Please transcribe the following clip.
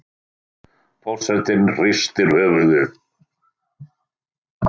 Forsetinn hristir höfuðið.